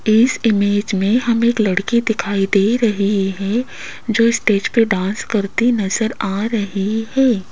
इस इमेज मे हम एक लड़की दिखाई दे रही है जो स्टेज पे डांस करते नजर आ रही है।